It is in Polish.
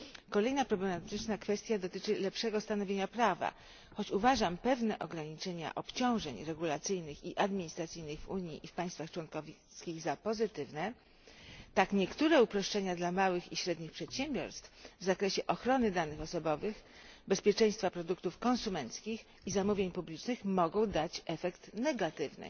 Kolejna problematyczna kwestia dotyczy lepszego stanowienia prawa choć uważam pewne ograniczenia obciążeń regulacyjnych i administracyjnych w Unii i w państwach członkowskich za pozytywne, tak niektóre uproszczenia dla małych i średnich przedsiębiorstw w zakresie ochrony danych osobowych, bezpieczeństwa produktów konsumenckich i zamówień publicznych mogą dać efekt negatywny